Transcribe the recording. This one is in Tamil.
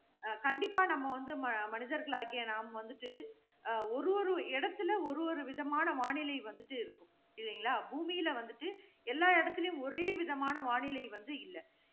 அஹ் கண்டிப்பா நம்ம வந்து, மனிதர்களாகிய நாம் வந்துட்டு, அஹ் ஒரு ஒரு இடத்துல ஒரு ஒரு விதமான வானிலை வந்துட்டு இருக்கும். இல்லைங்களா? பூமியில வந்துட்டு, எல்லா இடத்திலேயும் ஒரேவிதமான வானிலை வந்து இல்ல.